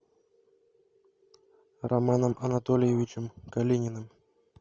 романом анатольевичем калининым